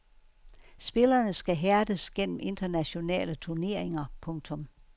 Spillerne skal hærdes gennem internationale turneringer. punktum